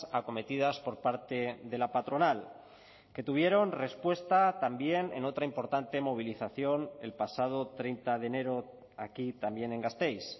acometidas por parte de la patronal que tuvieron respuesta también en otra importante movilización el pasado treinta de enero aquí también en gasteiz